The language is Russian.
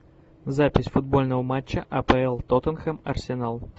запись футбольного матча апл тоттенхэм арсенал